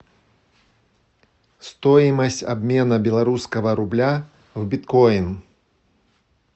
стоимость обмена белорусского рубля в биткоин